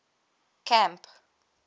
camp